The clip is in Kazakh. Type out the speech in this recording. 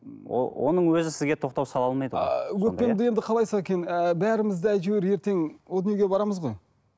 оның өзі сізге тоқтау сала алмайды ғой бәріміз де әйтеуір ертең о дүниеге барамыз ғой